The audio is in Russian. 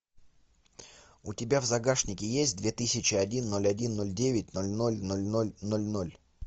у тебя в загашнике есть две тысячи один ноль один ноль девять ноль ноль ноль ноль ноль ноль